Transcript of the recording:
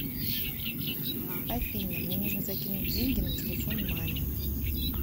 афина мне нужно закинуть деньги на телефон маме